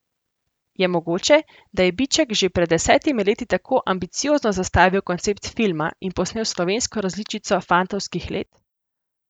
Je mogoče, da je Biček že pred desetimi leti tako ambiciozno zastavil koncept filma in posnel slovensko različico Fantovskih let?